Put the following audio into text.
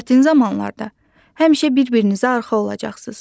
çətin zamanlarda həmişə bir-birinizə arxa olacaqsınız.